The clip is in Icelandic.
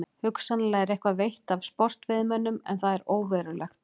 Hugsanlega er eitthvað veitt af sportveiðimönnum en það er óverulegt.